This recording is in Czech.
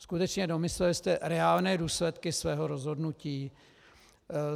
Skutečně, domysleli jste reálné důsledky svého rozhodnutí?